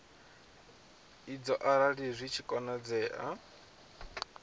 idzo arali zwi tshi konadzea